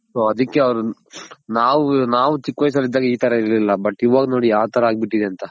so ಅದಕ್ಕೆ ಅವನ್ ನಾವ್ ನಾವ್ ಚಿಕ್ ವಯಸ್ ಅಲ್ಲಿದಾಗ ಇ ತರ ಇರ್ಲಿಲ್ಲ ಇವಾಗ ನೋಡಿ ಯಾವ್ ತರ ಆಗ್ಬಿಟ್ಟಿದೆ ಅಂತ.